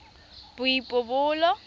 boipobolo